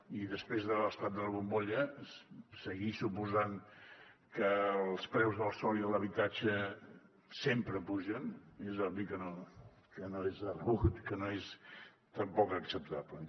i després de l’esclat de la bombolla seguir suposant que els preus del sòl i de l’habitatge sempre pugen és obvi que no és de rebut que no és tampoc acceptable